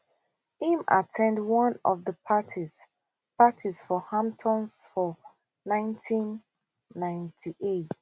im at ten d one of di parties parties for hamptons for 1998